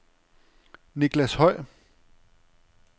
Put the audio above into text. Niclas Høy